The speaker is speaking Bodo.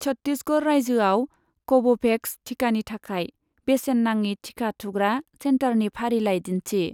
छट्टिसगड़ रायजोआव कव'भेक्स थिखानि थाखाय बेसेन नाङि थिखा थुग्रा सेन्टारनि फारिलाइ दिन्थि।